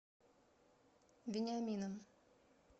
вениамином